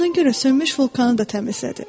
Buna görə sönmüş vulkanı da təmizlədi.